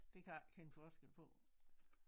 Det kan jeg ikke kende forskel på